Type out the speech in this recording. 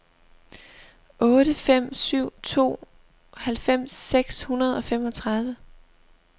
otte fem syv to halvfems seks hundrede og femogtredive